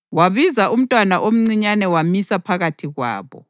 Wabiza umntwana omncinyane wamisa phakathi kwabo.